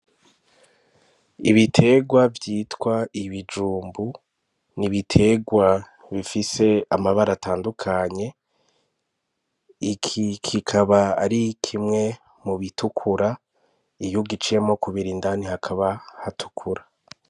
Ibitegwa vyitwa ibijumbu, ni ibitegwa bifise amabara atandukanye iki kikaba ari kimwe mu bitukura iyo ugiciyemwo kabiri indani hakaba hatukura.